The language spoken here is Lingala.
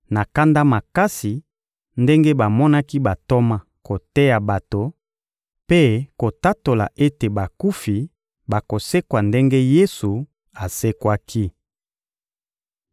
na kanda makasi ndenge bamonaki bantoma koteya bato mpe kotatola ete bakufi bakosekwa ndenge Yesu asekwaki.